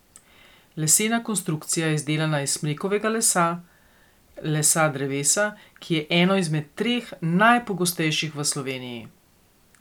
Lesena konstrukcija je izdelana iz smrekovega lesa, lesa drevesa, ki je eno izmed treh najpogostejših v Sloveniji.